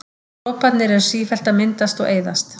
Droparnir eru sífellt að myndast og eyðast.